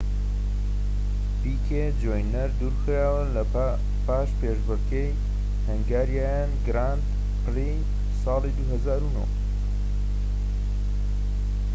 پیکێ جونیەر دوور خرایەوە پاش پێشبڕكێی هەنگاریان گراند پری-ساڵی ٢٠٠٩